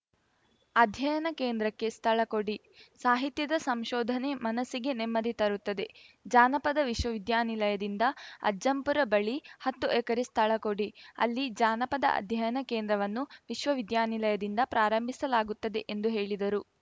ಅಧ್ಯಯನ ಕೇಂದ್ರಕ್ಕೆ ಸ್ಥಳ ಕೊಡಿ ಸಾಹಿತ್ಯದ ಸಂಶೋಧನೆ ಮನಸ್ಸಿಗೆ ನೆಮ್ಮದಿ ತರುತ್ತದೆ ಜಾನಪದ ವಿಶ್ವವಿದ್ಯಾನಿಲಯದಿಂದ ಅಜ್ಜಂಪುರ ಬಳಿ ಹತ್ತು ಎಕರೆ ಸ್ಥಳ ಕೊಡಿ ಅಲ್ಲಿ ಜಾನಪದ ಅಧ್ಯಯನ ಕೇಂದ್ರವನ್ನು ವಿಶ್ವವಿದ್ಯಾನಿಲಯದಿಂದ ಪ್ರಾರಂಭಿಸಲಾಗುತ್ತದೆ ಎಂದು ಹೇಳಿದರು